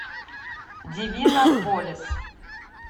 дивинополис